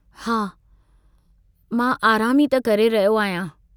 हा, मां आराम ई त करे रहियो आहियां।